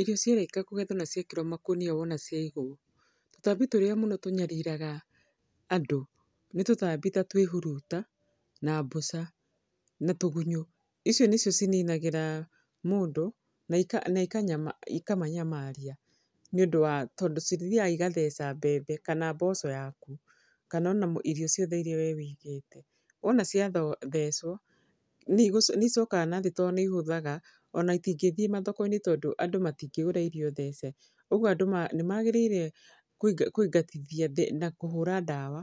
Irio ciarĩka kũgethwo na ciekĩrwo makũnia wona ciagwo, tũtambi tũrĩa mũno tũnyariraga andũ, nĩ tũtambi ta twĩhuruta, na mbũca, na tũgunyũ. Icio nĩcio cininagĩra mũndũ na na ikamanyamaria nĩ ũndũ wa tondũ cithiaga igatheca mbembe kana mboco yaku, kana ona irio ciothe irĩa we wĩigĩte. Wona ciathecwo, nĩ nĩ icokaga na thĩ to nĩ ihũthaga, ona itingĩthiĩ mathoko nĩ tondũ andũ matingĩgũra irio thece. Ũguo andũ nĩ magĩrĩire kũingatithia na kũhũra ndawa.